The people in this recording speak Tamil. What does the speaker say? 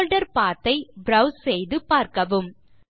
போல்டர் பத் ஐ ப்ரோவ்ஸ் செய்து பார்க்கவும்